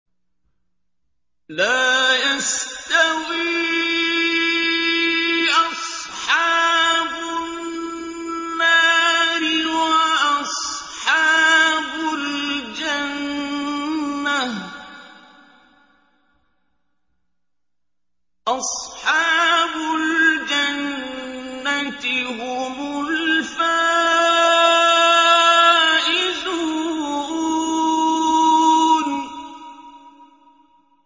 لَا يَسْتَوِي أَصْحَابُ النَّارِ وَأَصْحَابُ الْجَنَّةِ ۚ أَصْحَابُ الْجَنَّةِ هُمُ الْفَائِزُونَ